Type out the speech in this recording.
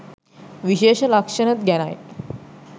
විශේෂ ලක්ෂණ ගැනයි.